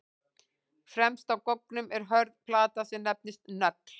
Fremst á goggnum er hörð plata sem nefnist nögl.